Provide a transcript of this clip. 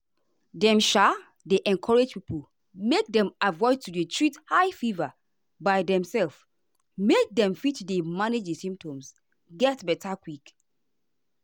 dem um dey encourage pipo make dem avoid to dey treat high fever by demself make dem fit manage di symptoms get beta quick.